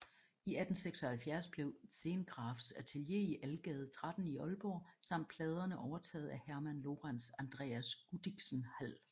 I 1876 blev Zehngrafs atelier i Algade 13 i Aalborg samt pladerne overtaget af Herman Lorentz Andreas Gudichsen Hald